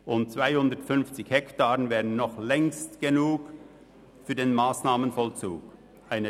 250 Hektaren würden für den Massnahmenvollzug längstens ausreichen.